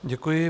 Děkuji.